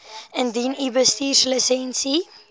indien u bestuurslisensie